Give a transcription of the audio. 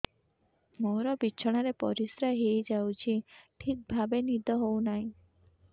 ମୋର ବିଛଣାରେ ପରିସ୍ରା ହେଇଯାଉଛି ଠିକ ଭାବେ ନିଦ ହଉ ନାହିଁ